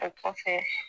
O kɔfɛ